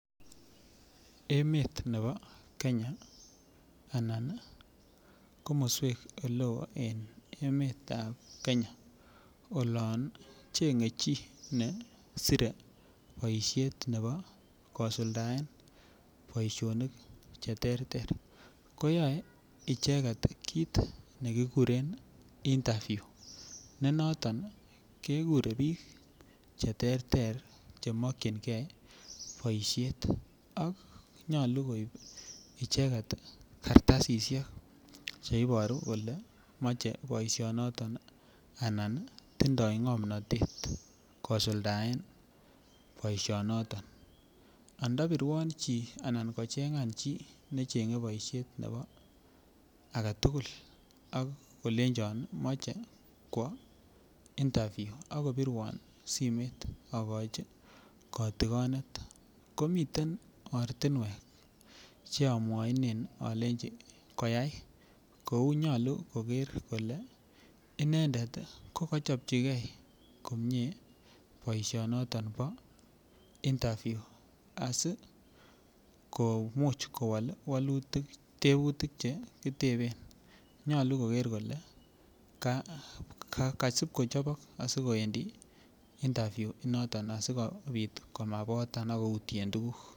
Emet nebo Kenya Anan komoswek Che Chang en emet ab Kenya olon chengei chi nesire boisiet nebo kosuldaen boisinik Che terter ko yoe icheget kit ne kikuren interview yoton kekure bik Che terter Che mokyingei boisiet ak nyolu koib icheget kartasisyek Che Iboru kole machei boisionoto anan tinye ngomnatet kosuldaen boisionoto anda birwon chi nechengei boisiet ak kolenchon moche kwo interview ak kobirwon simoit agochi kotigonet komiten ortinwek Che amwachinen alenji koyai kou nyolu koger kole inendet ko chopchigei inendet boisinoton bo interview asi komuch kowol tebutik Che ki teben nyolu koger kole kosib kochobok asi kowendi interview initon asikobit komabotan ak koutyen tuguk